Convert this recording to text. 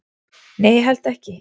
"""Nei, ég held ekki."""